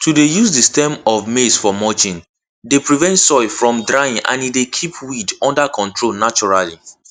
to dey use the stem of maize for mulching dey prevent soil from drying and e dey keep weed under control naturally